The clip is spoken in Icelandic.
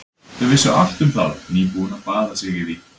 Þau vissu allt um það, nýbúin að baða sig í því.